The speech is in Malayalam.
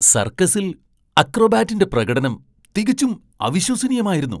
സർക്കസിൽ അക്രോബാറ്റിന്റെ പ്രകടനം തികച്ചും അവിശ്വസനീയമായിരുന്നു!